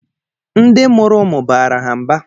Ndị mụrụ ụmụ baara ha mba